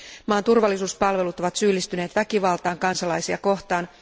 Maan turvallisuuspalvelut ovat syyllistyneet väkivaltaan kansalaisia kohtaan.